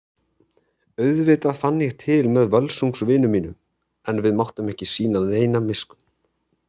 Auðvitað fann ég til með Völsungs vinum mínum en við máttum ekki sýna neina miskunn.